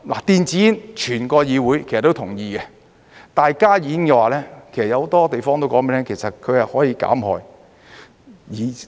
電子煙，整個議會其實都同意，但加熱煙的話，其實有很多地方都告訴你們，其實它是可以減害。